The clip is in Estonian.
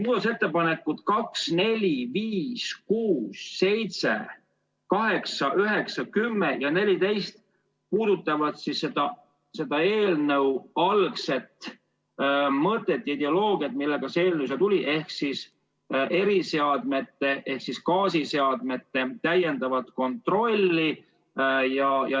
Muudatusettepanekud nr 2, 4, 5, 6, 7, 8, 9, 10 ja 14 puudutavad eelnõu algset mõtet, seda, milleks see eelnõu siia tuli, ehk eriseadmete ehk gaasiseadmete täiendavat kontrolli.